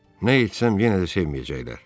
Nə etsəm yenə də sevməyəcəklər.